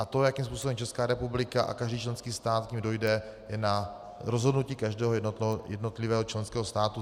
A to, jakým způsobem Česká republika a každý členský stát k nim dojde, je na rozhodnutí každého jednotlivého členského státu.